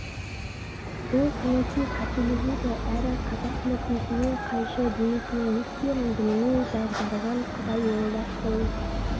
бұл саяси қателік еді әрі қазақ мүддесіне қайшы димекең не істерін білмей дағдарған құдай оңдап бұл